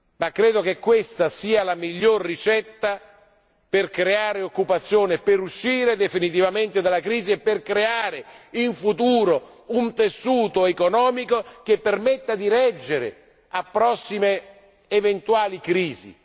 Ma credo che questa sia la miglior ricetta per creare occupazione, per uscire definitivamente dalla crisi e per creare, in futuro, un tessuto economico che permetta di reggere a prossime eventuali crisi.